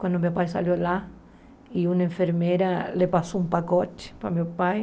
Quando meu pai saiu lá e uma enfermeira lhe passou um pacote para meu pai.